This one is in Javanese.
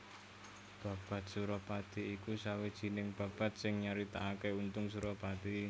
Babad Surapati iku sawijining babad sing nyaritakaké Untung Surapati